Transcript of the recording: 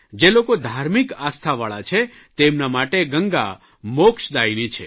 જે લોકો ધાર્મિક આસ્થાવાળા છે તેમના માટે ગંગા મોક્ષદાયિની છે